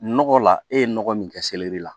Nɔgɔ la e ye nɔgɔ min kɛ la